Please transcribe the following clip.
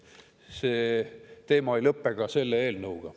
See teema ei lõpe ka selle eelnõuga.